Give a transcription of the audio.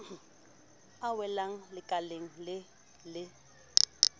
a welang lekaleng le le